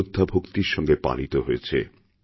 শ্রদ্ধাভক্তির সঙ্গে পালিত হয়েছে